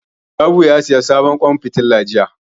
Salihu ya saya sabon ƙwan fitila jiya